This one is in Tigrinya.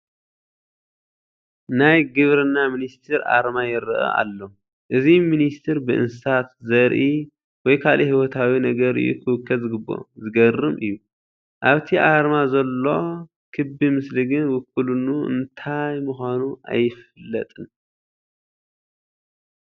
ናይ ግብርና ሚኒስተር ኣርማ ይርአ ኣሎ፡፡ እዚ ሚኒስተር ብእንስሳት፣ ዘርኢ ወይ ካልእ ህይወታዊ ነገር እዩ ክውከል ዝግብኦ፡፡ ዘግርም እዩ፡፡ ኣብቲ ኣርማ ዘሎ ክቢ ምስሊ ግን ውክልኡ እንታይ ምዃኑ ኣይፍለጥን፡፡